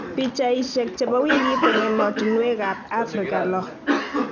Pichaisiek chebo wikit en emotunwek ab Afrika loo